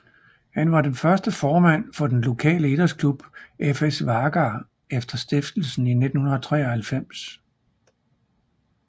Han var den første formand for den lokale idrætsklub FS Vágar efter stiftelsen i 1993